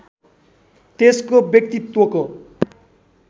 त्यसको व्यकतित्वको